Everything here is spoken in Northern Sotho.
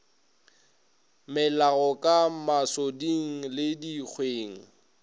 melago ka masoding le dikgweng